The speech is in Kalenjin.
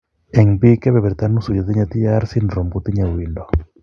En biik kebeberta nusu chetinye TAR syndrome kotinye uuindo